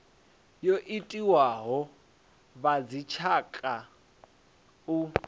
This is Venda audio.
yo itiwaho a vhadzitshaka u